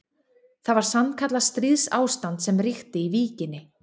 Það var sannkallað stríðsástand sem ríkti í Víkinni.